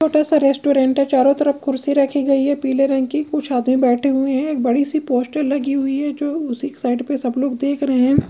छोटा सा रेस्टोरेंट है चारों तरफ कुर्सी रखी गई है पीले रंग की कुछ आदमी बैठे हुए है एक बड़ी सी पोस्टर लगी हुई है जो उसी साइड पे सब लोग देख रहे हैं।